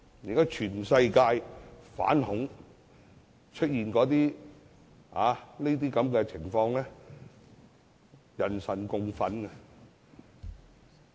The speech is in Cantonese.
現在全世界也討論反恐，很多恐怖襲擊都是人神共憤。